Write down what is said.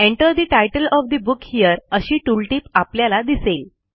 Enter the title of the book here अशी tooltip आपल्याला दिसेल